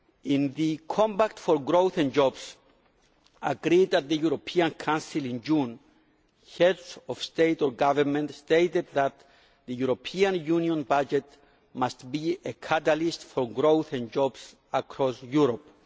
In the Compact for Growth and Jobs agreed at the European Council in June, Heads of State or Government stated that the European Union budget must be a catalyst for growth and jobs across Europe'.